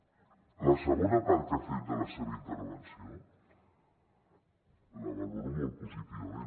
la segona part que ha fet de la seva intervenció la valoro molt positivament